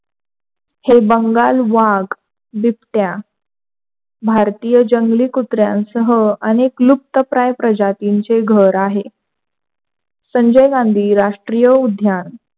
हे बंगाल वाघ, बिबट्या भारतीय जंगली कुत्र्यासह आणि लुक्त प्राणी प्रजातीचे घर आहे. संजय गांधी राष्ट्रीय उद्यान,